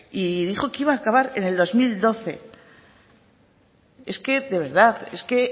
y dijo que iba a acabar en el dos mil doce es que de verdad es que